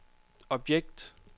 objekt